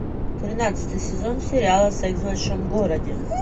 тринадцатый сезон сериала секс в большом городе